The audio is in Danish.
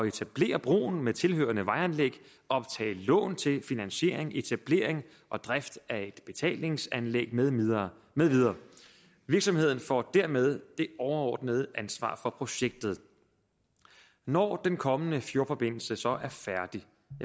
etablere broen med tilhørende vejanlæg optage lån til finansiering etablering og drift af et betalingsanlæg med videre med videre virksomheden får dermed det overordnede ansvar for projektet når den kommende fjordforbindelse så er færdig